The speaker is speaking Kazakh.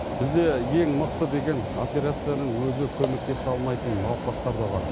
бізде ең мықты деген операцияның өзі көмектесе алмайтын науқастар да бар